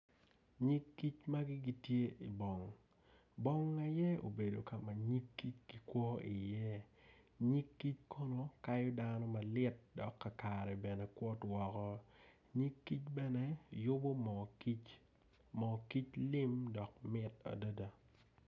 Nyig ki magi gitye ingom bong aye obedo kama nyig kic gikwo i iye nyig kic kono kayo dano malit dok kakare bene kwot woko nyig kic bene yubo mo kic moo kic lim dok mit adada